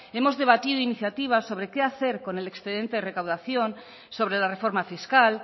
hemos debatido iniciativas sobre qué hacer con el excedente de recaudación sobre la reforma fiscal